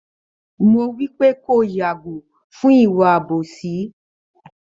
Mo wípé kí o yàgò fún ìwà àbòsí